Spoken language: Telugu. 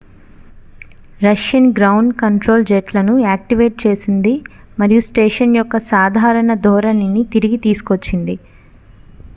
రష్యన్ గ్రౌండ్ కంట్రోల్ జెట్లను యాక్టీవేట్ చేసింది మరియు స్టేషన్ యొక్క సాధారణ ధోరణిని తిరిగి తీసుకొచ్చింది